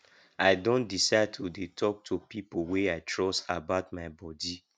i don decide to dey talk to people wey i trust about my bodi